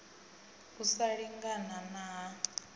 u sa lingana na ha